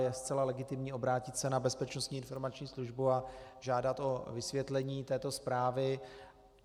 Je zcela legitimní obrátit se na Bezpečnostní informační službu a žádat o vysvětlení této zprávy.